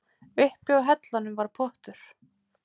Uppi á hellunum var pottur.